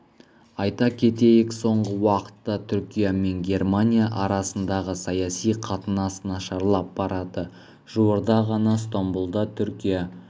айта кетейік соңғы уақытта түркия мен германия арасындағы саяси қатынас нашарлап барады жуырда ғана стамбұлда түркия